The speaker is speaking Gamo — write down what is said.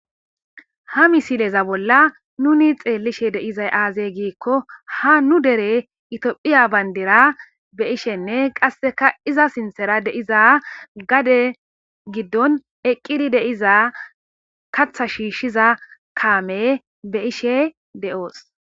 Ha misileza bolla nuni xeellishe deizay aazey giikko ha nu dere itiophiya bayndira be ishenne qasseka iza sinthera deiza gade giddon eqqidi deiza katha shiishshiza kaame be ishe de'oos.